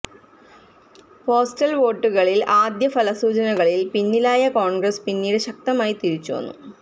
postal വോട്ടുകളില് ആദ്യ ഫലസൂചനകളില് പിന്നിലായ കോണ്ഗ്രസ് പിന്നീട് ശക്തമായി തിരിച്ചുവന്നു